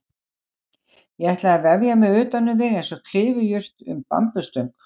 Ég ætla að vefja mig utanum þig einsog klifurjurt um bambusstöng.